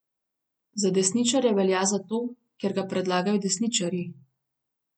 Za desničarja velja zato, ker ga predlagajo desničarji.